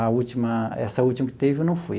A última, essa última que teve, eu não fui.